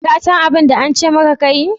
Ka san abun da an ce maka ka yi